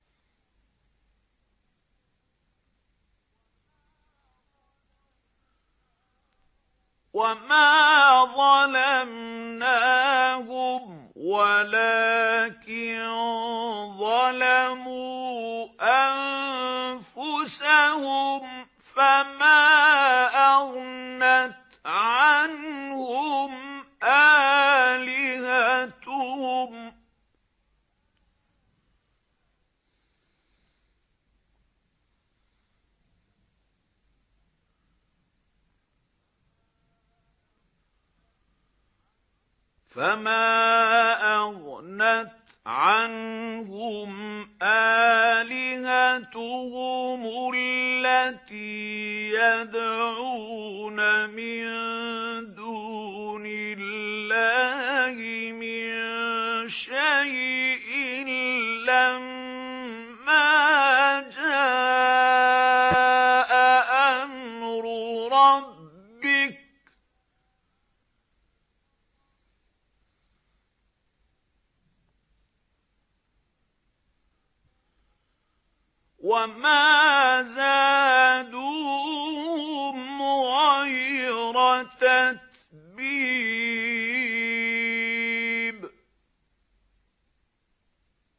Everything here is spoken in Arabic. وَمَا ظَلَمْنَاهُمْ وَلَٰكِن ظَلَمُوا أَنفُسَهُمْ ۖ فَمَا أَغْنَتْ عَنْهُمْ آلِهَتُهُمُ الَّتِي يَدْعُونَ مِن دُونِ اللَّهِ مِن شَيْءٍ لَّمَّا جَاءَ أَمْرُ رَبِّكَ ۖ وَمَا زَادُوهُمْ غَيْرَ تَتْبِيبٍ